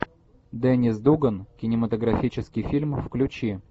деннис дуган кинематографический фильм включи